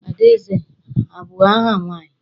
Adaeze abụ aha nwaanyị?